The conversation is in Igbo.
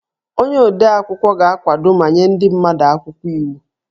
Onye odeakwụkwọ ga-akwado ma nye ndị mmadụ akwụkwọ iwu